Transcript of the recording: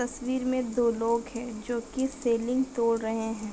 तस्वीर मे दो लोग है जो की सीलिंग तोड़ रहे है।